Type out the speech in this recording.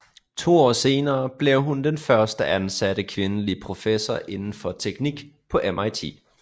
To år senere blev hun den første ansatte kvindelige professor indenfor teknik på MIT